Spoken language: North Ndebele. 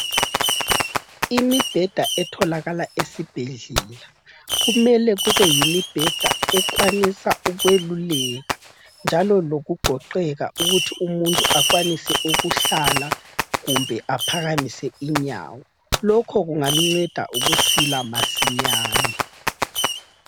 Imibheda etholakala esibhedlela kumele kube yimibheda ekwanisa ukweluleka njalo lokugoqeka ukuthi umuntu akwanise ukuhlala kumbe aphakamise inyawo lokhu kungamnceda ukusila masinyane.